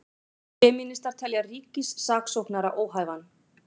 Femínistar telja ríkissaksóknara óhæfan